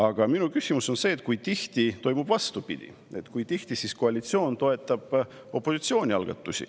Aga minu küsimus on see, kui tihti toimub vastupidi, kui tihti koalitsioon toetab opositsiooni algatusi.